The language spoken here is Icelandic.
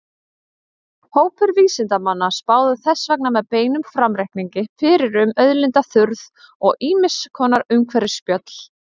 Hópar vísindamanna spáðu þess vegna með beinum framreikningi fyrir um auðlindaþurrð og ýmiss konar umhverfisspjöll.